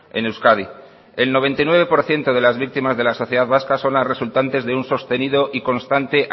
en euskadi el noventa y nueve por ciento de las víctimas de la sociedad vasca son las resultantes de un sostenido y constante